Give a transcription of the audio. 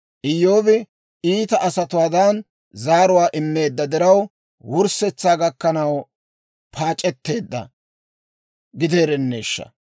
Iyyoobi iita asatuwaadan zaaruwaa immeedda diraw, wurssetsaa gakkanaw paac'etteedda gideerenneeshsha!